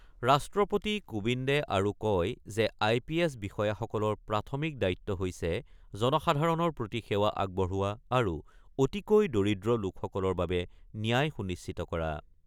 ৰাষ্ট্ৰপতি কোবিন্দে আৰু কয় যে আই পি এছ বিষয়াসকলৰ প্ৰাথমিক দায়িত্ব হৈছে জনসাধাৰণৰ প্ৰতি সেৱা আগবঢ়োৱা আৰু অতিকৈ দৰিদ্ৰ লোকসকলৰ বাবে ন্যায় সুনিশ্চিত কৰা।